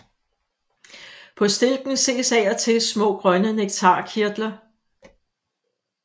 På stilken ses af og til små grønne nektarkirtler